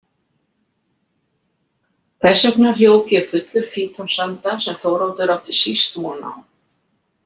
Þess vegna hljóp ég fullur fítonsanda sem Þóroddur átti síst von.